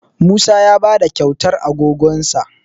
Musa ya ba da kyautar agogonsa